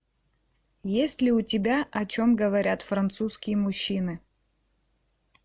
есть ли у тебя о чем говорят французские мужчины